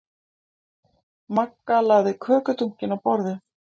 Magga lagði kökudunkinn á borðið.